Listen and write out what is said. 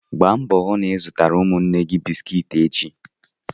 Gbaa mbọ hụ na ị zụrụ ụmụ nwanne gị bisikiiti echi!